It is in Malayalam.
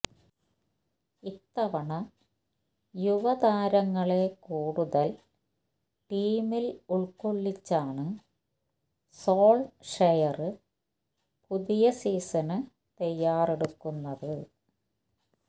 ഇത്തവണ യുവതാരങ്ങളെ കൂടുതല് ടീമില് ഉള്ക്കൊള്ളിച്ചാണ് സോള്ഷെയര് പുതിയ സീസണിന് തയ്യാറെടുക്കുന്നത്